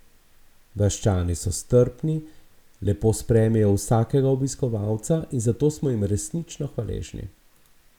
Vaščani so strpni, lepo sprejmejo vsakega obiskovalca in za to smo jim resnično hvaležni.